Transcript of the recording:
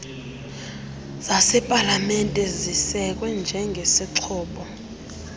zasepalamente zisekwe njengezixhobo